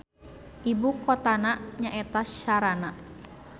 Ibu kotana nyaeta Sharana.